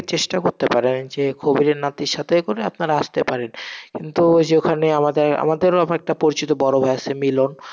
চেষ্টা করতে পারেন, যে কবিরের নাতির সাথে করে আপনারা আসতে পারে, কিন্তু ওই যে ওখানে আমাদের, আমাদেরও ওরকম একটা পরিচিত বড় ভাই আসে মিলন,